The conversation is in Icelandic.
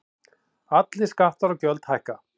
Allir skattar og gjöld hækka